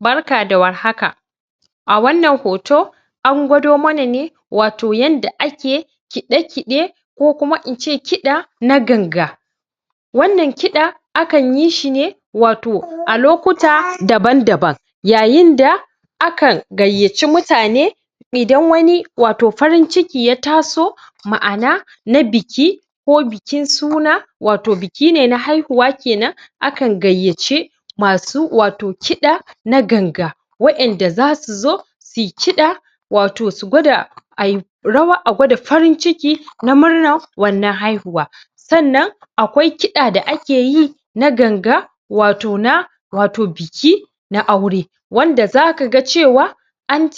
barka da war haka a wan nan hoto an kwado mana ne wato yadda a ke kide-kide ko kuma in ce kida na ganga wan nan kida akan yi shine wato a lokuta daban daban yayin da akan gaiyaci mutane idan wani wato farin ciki ya taso maana na biki ko bikin suna wato bikine na haihuwa kenan akan gaiyaci masu wato kida na ganga wayan da za su zo suyi kida wato su kwada a yi rawa su kwada farin ciki na munnar wannan haihuwa san nan akwai kida da akeyi na ganga wato na, wato na wato biki, na aure wanda za ka ga cewa an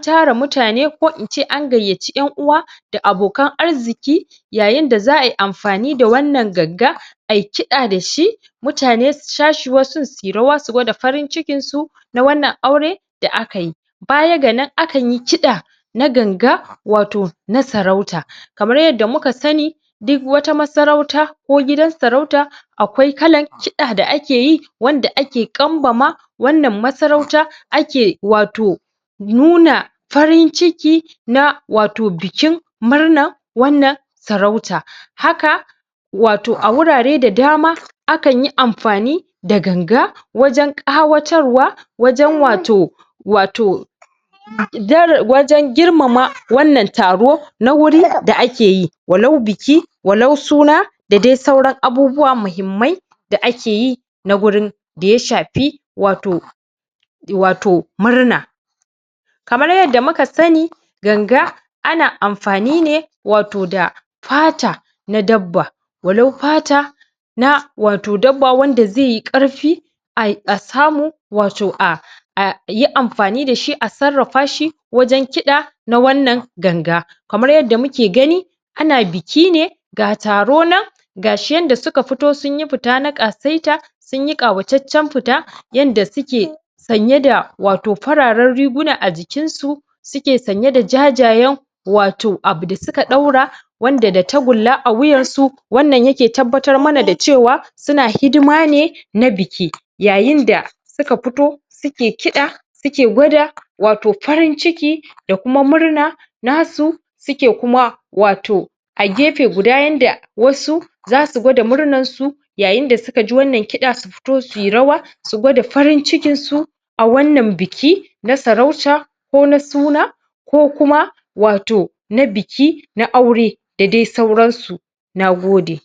tara mutane ko in ce an gaiyaci, yan uwa da akokan arziki yayin da zaa yi anfani da wan nan ganga ayi kida dashi mutane su shashi wasu suyi rawa su kwada farin cikin su na wan nan aure da akayi baya ga nan akan yi nkida na ganga wato wato na sarauta kaman yadda muka sani duk wata masaurauta ko gidan sarauta akwai kalan kida a akeyi wanda ake kanbama wan nan masarauta ake wato nuna farin ciki wato na wato bikin murnar bikin shirin wan nan saurauta haka wato a hurare da dama akan yi anfani da ganga wajen kawatarwa wajen wato, wato wajen girmama wan nan taro na huri da akeyi walau biki, walau suna da dai sauran abubuwa muhimmai da akeyi, na gurin, da ya shafi, wato wato murna kamar yadda muka sani ganga ana anfani ne, wato da fata na dabba, wayau fata na wato dabba wanda zaiyi karfi a samu wato a ayi anfani dashi a sarrafashi wajen kida na wan nan ganga, kamar yadda muke gani ana bikine ga taro nan gashi yadda suka fito sun yi fita ta kasaita sun yi kawaceccen fita yadda suke sanye da fararen riguna wato a jikin su suke sanye da wato jajayen abu da suka daura wan da da takulla a huyan su wan nan yake tabbatar mana da cewa suna hidimane na biki yayin da suka fito suke kida suke kwada wato farin ciki da kuma murna nasu suke kuma wato a gefe guda yanda wasu zasu kwada murnan su yayin da suka ji wan nan kida su fito suyi rawa su kwada farin cikin su a wan nan biki na sarauta ko na suna ko kuma wato na biki, na aure da dai sauran su na gode